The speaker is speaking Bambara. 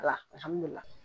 Alahamdu lilaahi.